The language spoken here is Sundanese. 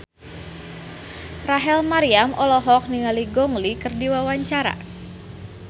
Rachel Maryam olohok ningali Gong Li keur diwawancara